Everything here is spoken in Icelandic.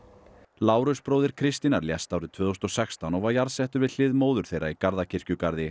Lárus bróðir Kristínar lést árið tvö þúsund og sextán og var jarðsettur við hlið móður þeirra í